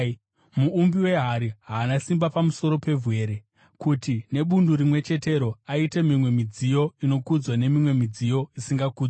Muumbi wehari haana simba pamusoro pevhu here, kuti nebundu rimwe chetero aite mimwe midziyo inokudzwa nemimwe midziyo isingakudzwi?